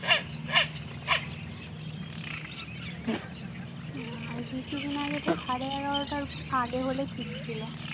না কিছুদিন আগে তো এগারোটার আড়ে হলে ঠিক ছিল।